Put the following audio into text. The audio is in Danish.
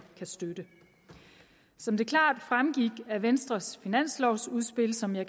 kan støtte som det klart fremgik af venstres finanslovudspil som jeg